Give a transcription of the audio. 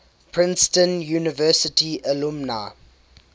princeton university alumni